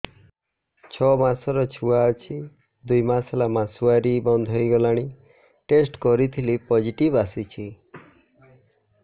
ଛଅ ମାସର ଛୁଆ ଅଛି ଦୁଇ ମାସ ହେଲା ମାସୁଆରି ବନ୍ଦ ହେଇଗଲାଣି ଟେଷ୍ଟ କରିଥିଲି ପୋଜିଟିଭ ଆସିଛି